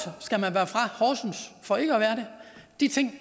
fra ikke at være det de ting